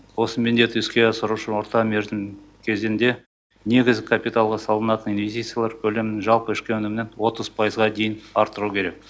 осы міндетті іске асыру үшін орта мерзім кезеңде негізгі капиталға салынатын инвестициялар көлемін жалпы ішкі өнімнен отыз пайызға дейін арттыру керек